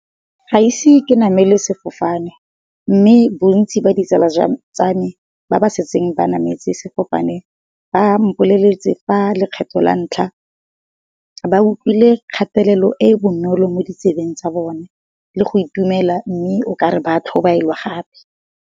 Ga ise ke namele sefofane mme bontsi ba di tsala tsa me ba ba setseng ba nametsa sefofane ba mpoleletse fa lekgetho la ntlha, ba utlwile kgatelelo e e bonolo mo di tsebeng tsa bone le go itumela mme o kare ba tlhobaelwa gape.